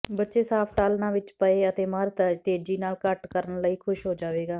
ਬੱਚੇ ਸਾਫਟ ਆਲ੍ਹਣਾ ਵਿੱਚ ਪਏ ਅਤੇ ਮਰ ਤੇਜ਼ੀ ਨਾਲ ਘਟ ਕਰਨ ਲਈ ਖੁਸ਼ ਹੋ ਜਾਵੇਗਾ